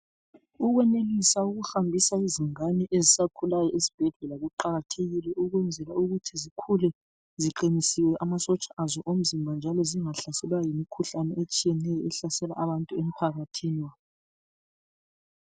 Ukwenelisa ukuhambisa izingane ezisakhulayo, ezibhedlela kuqakathekile ukwenzela ukuthi zikhule ziqinisiwe amasotsha azo omzimba njalo zingahlaselwa yimkhuhlane etshiyeneyo ehlasela abantu emphakathini.